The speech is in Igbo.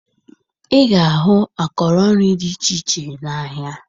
Ị ga-ahụ akọrọ nri dị iche iche n'ahịa